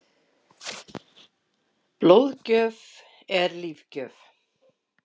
Landsliðið Fyrirmynd?